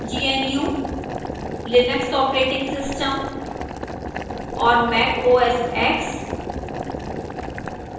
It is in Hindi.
gnu/linux operating system और